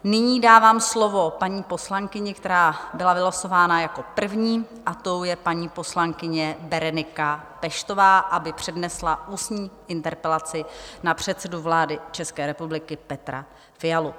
Nyní dávám slovo paní poslankyni, která byla vylosována jako první, a tou je paní poslankyně Berenika Peštová, aby přednesla ústní interpelaci na předsedu vlády České republiky Petra Fialu.